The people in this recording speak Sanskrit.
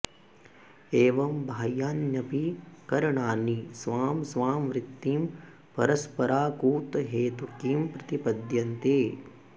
एवं बाह्यान्यपि करणानि स्वां स्वां वृत्तिं परस्पराकूतहैतुकीं प्रतिपद्यन्ते